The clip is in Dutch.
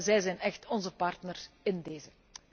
Zij zijn echt onze partners in dezen.